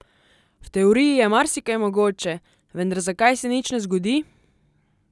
V teoriji je marsikaj mogoče, vendar zakaj se nič ne zgodi?